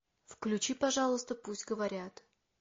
включи пожалуйста пусть говорят